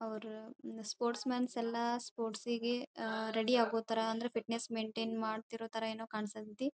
ಅವರು sports mans ಎಲ್ಲಾ sports ಗೆ ಅಹ್ ರೆಡಿ ಆಗೋ ಥರ ಅಂದ್ರೆ ಫಿಟ್ನೆಸ್ ಮೇಂಟೈನ್ ಮಾಡ್ತಿರೋ ಥರ ಏನೋ ಕಾಣಿಸಕ್ಕೆ ಹತೈತಿ.